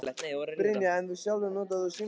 Brynja: En þú sjálfur, notar þú símaklefa?